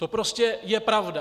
To prostě je pravda.